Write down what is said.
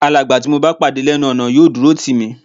Alàgbà tí mo bá pàdé lẹ́nu ọ̀nà yóò dúró tì mí